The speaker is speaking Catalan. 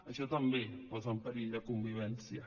això també posa en perill la convivència